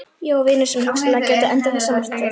Ég á vini sem hugsanlega gætu endað þessa martröð.